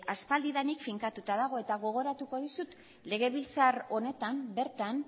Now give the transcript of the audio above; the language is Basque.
aspalditik finkatuta dago eta gogoratuko dizut legebiltzar honetan bertan